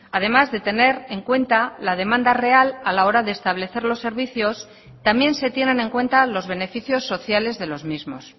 además de tener en cuenta la demanda real a la hora de establecer los servicios también se tienen en cuenta los beneficios sociales de los mismos